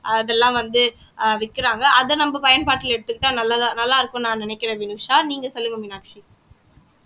அதெல்லாம் வந்து ஆஹ் விக்கிறாங்க அத நம்ம பயன்பாட்டுல எடுத்துக்கிட்டா நல்லதா நல்லா இருக்கும்னு நான் நினைக்கிறேன் வினுஷா நீங்க சொல்லுங்க மீனாட்சி